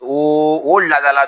O o laadala